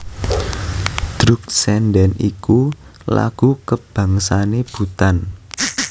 Druk tsendhen iku lagu kabangsané Bhutan